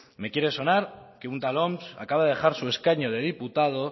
me quiero sonar que un tal oms acaba de dejar su escaño de diputado